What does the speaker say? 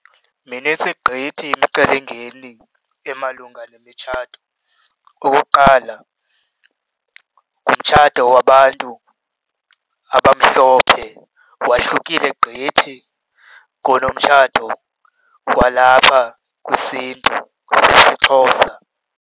Minintsi gqithi imicelimngeni emalunga nemitshato. Okokuqala, ngumtshato wabantu abamhlophe wahlukile gqithi kunomtshato walapha kwisiNtu osisiXhosa.